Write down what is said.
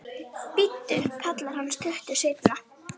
Bíddu, kallar hann stuttu seinna.